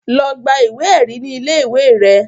Lọ gba ìwé ẹ̀rí ní ilé ìwé rẹ